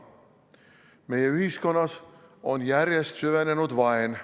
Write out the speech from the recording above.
Meie ühiskonnas on järjest süvenenud vaen.